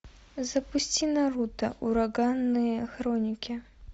запусти наруто ураганные хроники